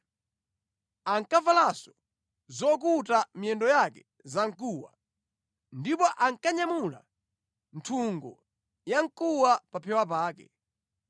Ankavalanso zokuta miyendo yake zamkuwa, ndipo ankanyamula nthungo ya mkuwa pa phewa pake.